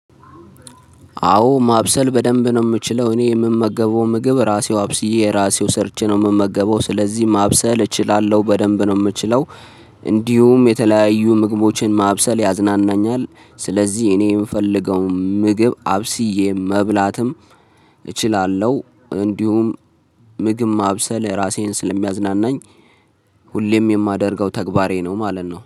አዎ ማብሰል በደንብ ነው የምችለው እኔ የምመገበው ምግብ ራሴው አብስዬ ራሴው ሰርቼ ነው የምመገበው ስለዚህ ማብሰል እችላለሁ በደንብ ነው የምችለው። እንዲሁም የተለያዩ ምግቦችን ማብሰል ያዝናናኛል። ስለዚህ እኔ የምፈልገው ምግብ አብስዬ መብላትም እችላለሁ። እንዲሁም ምግብ ማብሰል ራሴን ስለሚያዝናናኝ። ሁሌም የማደርገው ተግባሬ ነው ማለት ነው